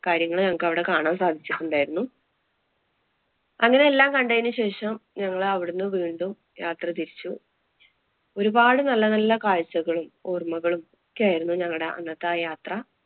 കാര്യങ്ങള് ഞങ്ങള്‍ക്ക് അവിടെ കാണാന്‍ സാധിച്ചിട്ടുണ്ടായിരുന്നു. അങ്ങനെ എല്ലാം കണ്ടതിനു ശേഷം ഞങ്ങളവടന്ന് വീണ്ടും യാത്ര തിരിച്ചു ഒരുപാട് നല്ല നല്ല കാഴ്ചകളും, ഓര്‍മ്മകളും ഒക്കെയായിരുന്നു ഞങ്ങടെ ആ അന്നത്തെ യാത്ര.